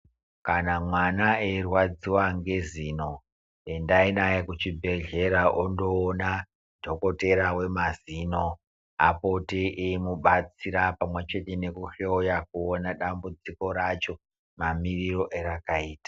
Kana mwana eyi rwadziwa nge zino endayi naye ku chibhedhlera ondoona dhokotera we mazino apote eyimu batsira pamwe chete neku hloya kuona dambudziko racho ma miriro erakaita.